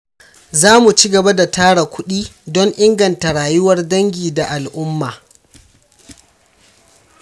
Za mu ci gaba da tara kuɗi don inganta rayuwar dangi da al’umma.